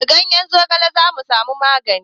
Da ganyen zogale za mu ma sa magani